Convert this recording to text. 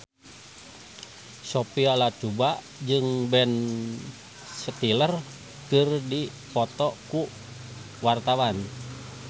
Sophia Latjuba jeung Ben Stiller keur dipoto ku wartawan